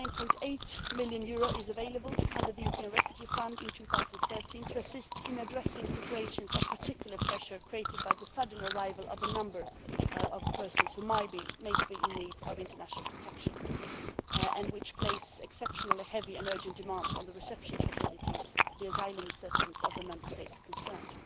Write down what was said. EUR 9.8 million will be available under the European Refugee Fund in 2013 to assist in addressing situations of particular pressure created by the sudden arrival of a number of persons who might be in need of international protection and thereby place exceptionally heavy and urgent demands on the reception facilities and asylum systems of the Member States concerned.